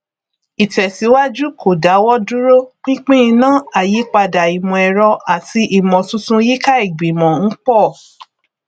ìtèsíwájú kò dáwọdúró pinpin iná àyípadà ìmọẹrọ àti ìmọtuntun yíká ìgbìmọ ń pọ